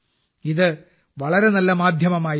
ഇത് വളരെ നല്ല മാധ്യമമായി മാറി